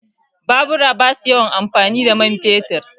Babura ba su yawan amfani da man fetur